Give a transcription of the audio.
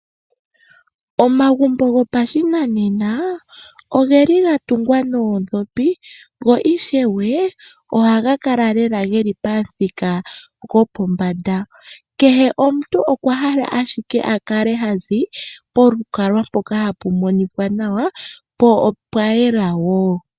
Omagumbo goshinanena oga tungwa noondhopi go ishwe ohaga kala lela geli pamuthika go po mbanda. Kehe omuntu okwa hala ashike akale hazi polukalwa mpoka tapu monika nawa po opwa yela woo.